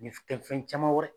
Ni fi kɛ fɛn caman wɛrɛ.